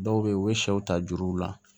Dɔw be yen u be sɛw ta juruw la